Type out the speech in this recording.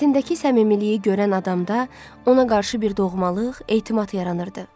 Sifətindəki səmimiyyəti görən adamda ona qarşı bir doğmalıq, etimad yaranırdı.